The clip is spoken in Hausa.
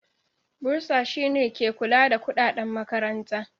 Bursar shine ke kula da kudaden makaranta.